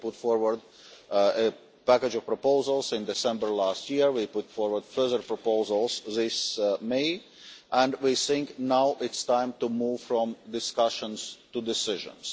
we put forward a package of proposals in December last year, we put forward further proposals this May, and we think it is now time to move from discussions to decisions.